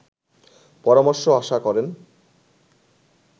পরামর্শ আশা করেন